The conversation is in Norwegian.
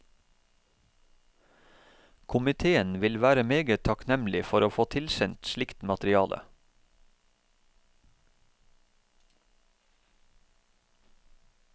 Komiteen vil være meget takknemlig for å få tilsendt slikt materiale.